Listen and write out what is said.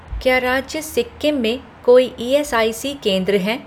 क्या राज्य सिक्किम में कोई ईएसआईसी केंद्र हैं